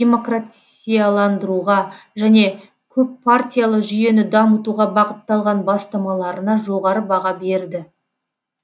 демократияландыруға және көппартиялы жүйені дамытуға бағытталған бастамаларына жоғары баға берді